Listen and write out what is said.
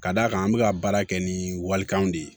Ka d'a kan an bɛ ka baara kɛ ni walikanw de ye